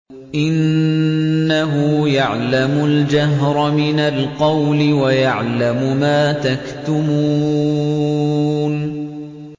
إِنَّهُ يَعْلَمُ الْجَهْرَ مِنَ الْقَوْلِ وَيَعْلَمُ مَا تَكْتُمُونَ